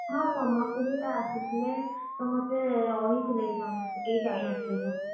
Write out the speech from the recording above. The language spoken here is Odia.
ହଁ ସମସ୍ତେ ସେଥି ଆସିଥିଲେ ସମସ୍ତେ ରହିଥିଲେ ବି ସମସ୍ତେ କେହି ଯାଇ ନଥିଲେ ଘରକୁ।